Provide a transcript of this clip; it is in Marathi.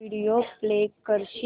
व्हिडिओ प्ले करशील